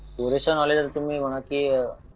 पुरेसं नॉलेज आता तुम्ही म्हणाल की